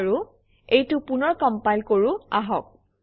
বাৰু এইটো পুনৰ কমপাইল কৰোঁ আহক